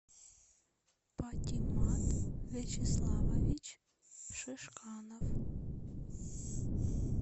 патимат вячеславович шишканов